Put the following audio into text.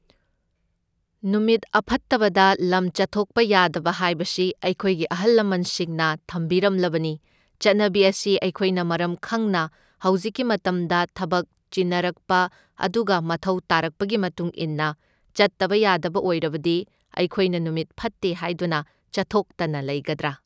ꯅꯨꯃꯤꯠ ꯑꯐꯠꯇꯕꯗ ꯂꯝ ꯆꯠꯊꯣꯛꯄ ꯌꯥꯗꯕ ꯍꯥꯢꯕꯁꯤ ꯑꯩꯈꯣꯢꯒꯤ ꯑꯍꯜ ꯂꯃꯟꯁꯤꯡꯅ ꯊꯝꯕꯤꯔꯝꯂꯕꯅꯤ ꯆꯠꯅꯕꯤ ꯑꯁꯤ ꯑꯩꯈꯣꯢꯅ ꯃꯔꯝ ꯈꯪꯅ ꯍꯧꯖꯤꯛꯀꯤ ꯃꯇꯝꯗ ꯊꯕꯛ ꯆꯤꯟꯅꯔꯛꯄ ꯑꯗꯨꯒ ꯃꯊꯧ ꯇꯥꯔꯛꯄꯒꯤ ꯃꯇꯨꯡ ꯢꯟꯅ ꯆꯠꯇꯕ ꯌꯥꯗꯕ ꯑꯣꯢꯔꯕꯗꯤ ꯑꯩꯈꯣꯢꯅ ꯅꯨꯃꯤꯠ ꯐꯠꯇꯦ ꯍꯥꯢꯗꯨꯅ ꯆꯠꯊꯣꯛꯇꯅ ꯂꯩꯒꯗ꯭ꯔꯥ